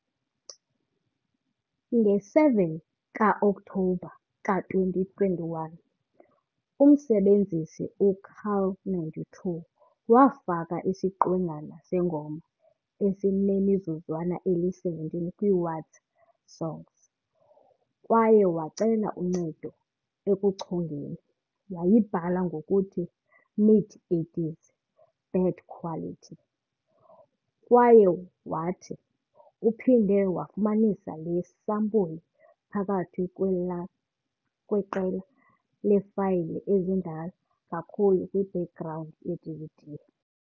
Nge-7 ka-Okthobha ka-2021, umsebenzisi u-carl92 wafaka isiqwengana sengoma esinemizuzwana eli-17 kwi-WatZatSong kwaye wacela uncedo ekuyichongeni. Wayibhala ngokuthi "Mid 80s, bad quality" kwaye wathi "uphinde wafumanisa le sampuli phakathi kwelaa kweqela leefayile ezindala kakhulu kwi-background yeDVD.